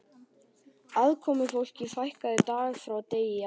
Aðkomufólki fækkaði dag frá degi á